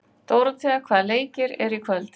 Dóróthea, hvaða leikir eru í kvöld?